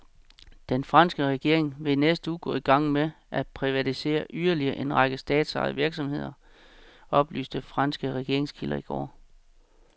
Den franske regering vil i næste uge gå i gang med at privatisere yderligere en række statsejede virksomheder, oplyste franske regeringskilder i går.